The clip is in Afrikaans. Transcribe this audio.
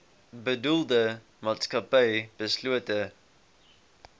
bedoelde maatskappy beslote